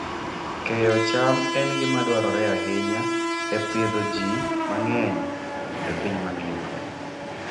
Keyo cham en gima dwarore ahinya e pidho ji mang'eny e piny mangima.